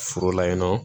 Foro la yen nɔ